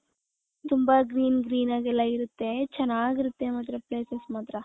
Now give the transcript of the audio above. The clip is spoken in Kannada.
ತುಂಬಾ green green ಆಗಿ ಎಲ್ಲಾ ಇರುತ್ತೆ . ಚೆನ್ನಾಗಿರುತ್ತೆ ಮಾತ್ರ ಎಲ್ಲಾ places ಮಾತ್ರ .